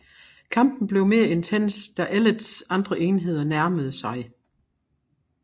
Kampen blev mere intens da Ellets andre enheder nærmede sig